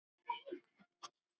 Kannski fæ ég engin svör.